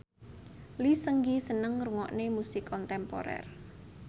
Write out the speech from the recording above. Lee Seung Gi seneng ngrungokne musik kontemporer